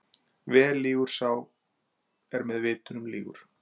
Vel lýgur sá er með vitnum lýgur.